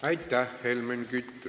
Aitäh, Helmen Kütt!